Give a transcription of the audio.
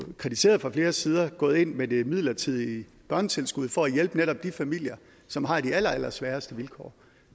kritiseret fra flere sider gået ind med det midlertidige børnetilskud for at hjælpe netop de familer som har de allerallersværeste vilkår